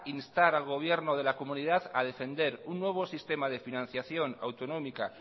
instar al gobierno de la comunidad a defender un nuevo sistema de financiación autonómica